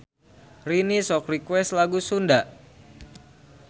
Rini sok request lagu Sunda